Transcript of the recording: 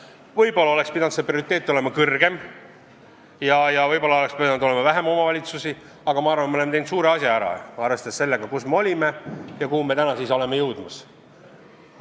Võib-olla oleks pidanud see prioriteet olema tugevam ja võib-olla oleks pidanud olema vähem omavalitsusi, aga ma arvan, et me oleme teinud suure asja ära, arvestades sellega, kus me olime ja kuhu me oleme jõudmas.